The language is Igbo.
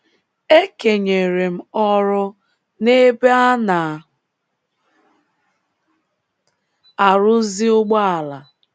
E kenyere m ọrụ n’ebe a na - arụzi ụgbọala.